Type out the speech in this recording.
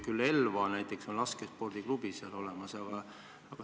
Küll aga näiteks Elvas on laskespordiklubi olemas.